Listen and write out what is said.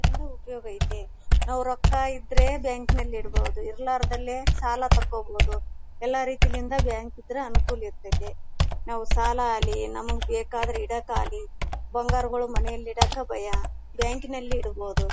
ಅದರಿಂದ ಉಪಯೋಗ ಐತ್ತೆ ಆ ರೊಕ್ಕ ಇದ್ರೆ ಬ್ಯಾಂಕ್ ನಲ್ಲಿ ಇಡಬೋ ದು ಇರ್ಲಾರ್ದಲ್ಲೇ ಸಾಲ ತಗೋಬೋದು ಎಲ್ಲ ರೀತಿಯಿಂದ ಬ್ಯಾಂಕ್ ಇದ್ರೆ ಅನುಕೂಲ ಇರ್ತಾತ್ತೆ ನಾವು ಸಾಲಾಗ್ಲಿ ನಮಗೆ ಬೇಕಾದರೆ ಇಡಕ್ಕೆ ಆಗ್ಲಿ ಬಂಗಾರಗಳು ಮನೆ ಇಡೋಕ್ಕ ಭಯ ಬ್ಯಾಂಕ್ ನಲ್ಲಿ ಇಡಬೋದು.